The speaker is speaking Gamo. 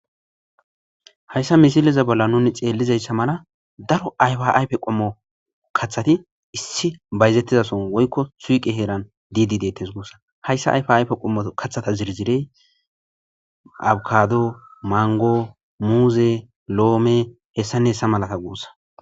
Hayssa misileza bolla nuni xeellizayssa mala daro ayfaaype qommo kathati issi bayzettizason woykko suiqe heeran didi detes guussa hayssa ayfayfe qommo kathata zirzirey abkado mango muuze loome hessane hessa malata guussa